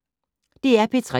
DR P3